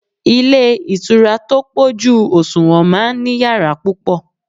Ilé ìtura tó pọ̀jù òṣùwọ̀n máa ń ní yàrá púpọ̀